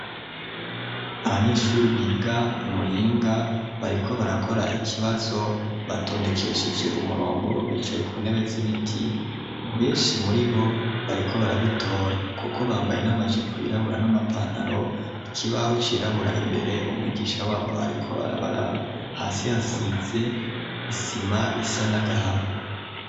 Abanyeshuri biga i Muyinga bariko barakora ikibazo batondekesheje umurongo bicaye ku ntebe z'ibiti, benshi muri bo bariko barabitora kuko bambaye n'amajipo yirabura n'amapantaro, ikibaho cirabura imbere umwigisha wabo ariko arabaraba hasi hasize isima isa n'agahama.